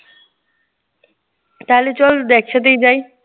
তাহলে চল একসাথেই যাই।